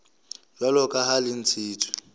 jwalo ka ha le ntshitswe